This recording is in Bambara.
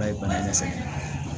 Ba ye bana ɲɛ sɛbɛ ye